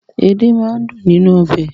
Edé máa ń dùn nínú ọbẹ̀.